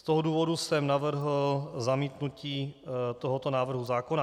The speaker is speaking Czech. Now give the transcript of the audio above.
Z toho důvodu jsem navrhl zamítnutí tohoto návrhu zákona